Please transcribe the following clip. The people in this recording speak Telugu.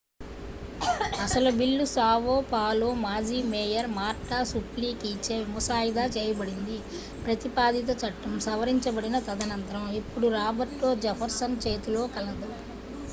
అసలు బిల్లు సావో పాలో మాజీ మేయర్ మార్టా సుప్లికీచే ముసాయిదా చేయబడింది ప్రతిపాదిత చట్టం సవరించబడిన తదనంతరం ఇప్పుడు రాబర్టో జెఫర్సన్ చేతిలో కలదు